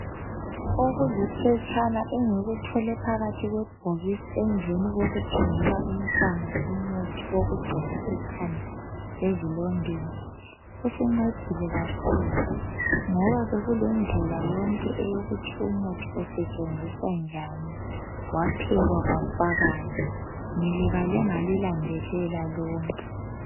Okuliphetshana engilithole phakathi kwebhokisi emveni kokuthengela umntwana umuthi wokugcoba ekhanda ezilondeni. Usincedile kakhulu ngoba bekulendlela yonke eyokuthi umuthi usetshenziswa njani, waphekwa kwafakani, ngilibale ngalilandelela lonke.